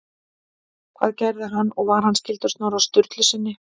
Hvað gerði hann og var hann skyldur Snorra Sturlusyni?